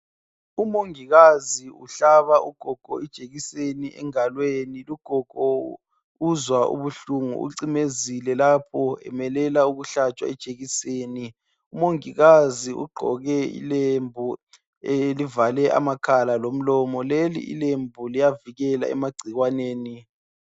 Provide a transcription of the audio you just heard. Umongikazi uhlaba ugogo ijekiseni engalweni lugogo uzwa ubuhlungu ucimezile lapho emelela ukuhlatshwa ijekiseni umongikazi ugqoke ilembu elivale amakhala lomlomo leli lembu liyavikela emagcikwaneni.